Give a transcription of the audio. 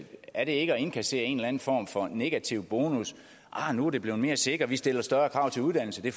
at det er at indkassere en eller anden form for negativ bonus nu er det blevet mere sikkert vi stiller større krav til uddannelse det